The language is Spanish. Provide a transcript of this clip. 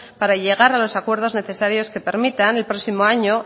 para llegar a los acuerdos necesarios que permitan el próximo año